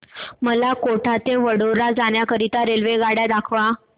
मला कोटा ते वडोदरा जाण्या करीता रेल्वेगाड्या दाखवा